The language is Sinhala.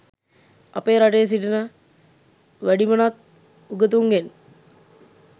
අපේ රටේ සිටින වැඩිමනත් උගතුන්ගෙන්